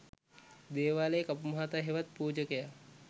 දේවාලයේ කපු මහතා හෙවත් පූජකයා